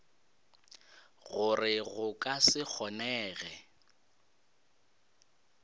gore go ka se kgonege